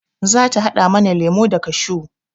Za ta haɗa mana lemo da kashew